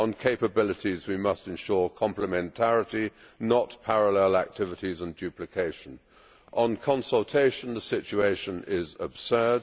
On capabilities we must ensure complementarity, not parallel activities and duplication. On consultation the situation is absurd.